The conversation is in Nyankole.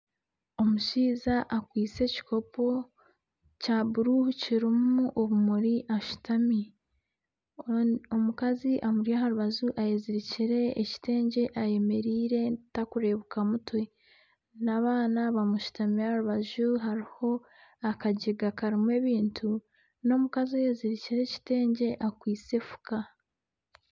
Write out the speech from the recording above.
Omushaija akwaitse ekikopo kya bururu kirimu obumuri ashutami. Omukazi amuri aha rubaju ayezirikire ekitengye ayemeriire takureebeka mutwe, n'abaana bamushutami aha rubaju hariho akajega karimu ebintu. N'omukazi ayezirikire ekitengye akwaitse efuka.